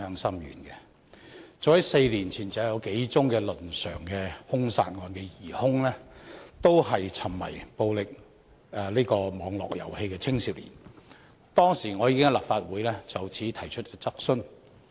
早在4年前，幾宗倫常兇殺案的疑兇均是沉迷暴力網絡遊戲的青少年，當時我已經在立法會就此提出質詢。